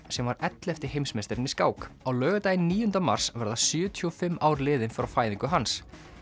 sem var ellefti heimsmeistarinn í skák á laugardaginn níunda mars verða sjötíu og fimm ár liðin frá fæðingu hans